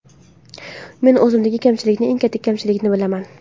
Men o‘zimdagi kamchilikni, eng katta kamchilikni bilaman.